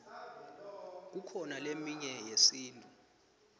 kukhona leminye yesintu